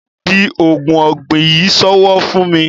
di oògùn egbò yí sowo fún mí.